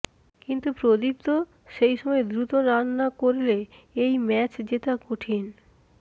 কিন্তু প্রদীপ্ত সেই সময় দ্রুত রান না করলে এই ম্যাচ জেতা কঠিন